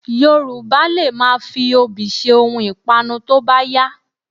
Yorùbá lè máa fi obì ṣe ohun ìpanu tó bá yá